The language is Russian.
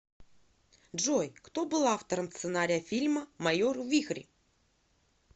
джой кто был автором сценария фильма майор вихрь